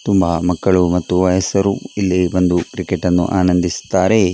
ತುಂಬ ಮಕ್ಕಳು ಮತ್ತು ವಯಸರು ಬಂದು ಕ್ರಿಕೆಟ್ ಅನ್ನು ಆನಂದಿಸುತ್ತಾರೆ.